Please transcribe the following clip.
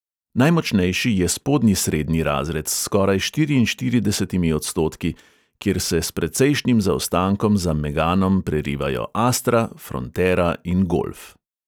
Najmočnejši je spodnji srednji razred s skoraj štiriinštiridesetimi odstotki, kjer se s precejšnjim zaostankom za meganom prerivajo astra, frontera in golf.